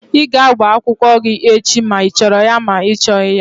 Ị ga-agba akwụkwọ gị echi ma ị chọrọ ya ma ọ bụ ị chọghị ya!